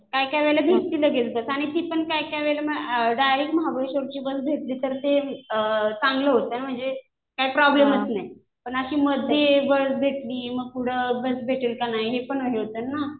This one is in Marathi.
काय काय वेळेला भेटती लगेच बस.आणि ती पण काय काय वेळेला डायरेक्ट महाबळेश्ववरची बस भेटली तर ते चांगले होतं ना म्हणजे काही प्रॉब्लेम होतं नाही. पण अशी मध्ये बस भेटली. मग पुढं बस भेटेल का नाही हे पण हे होतं ना.